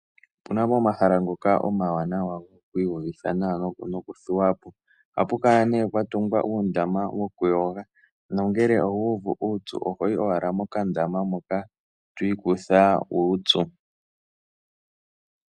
Opu na pomahala ngoka omawanawa goku iyuvitha nawa nokuthuwa po. Ohapu kala nee pwa tungwa uundama wokuyoga nongele owu uvu uupyu oho yi owala mokandama moka to ikutha uupyu.